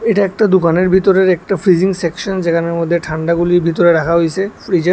এটা একটা দুকানের ভিতরের একটা ফিজিং সেকশন যেখানের মধ্যে ঠান্ডা গুলি ভিতরে রাখা হইসে ফ্রিজের।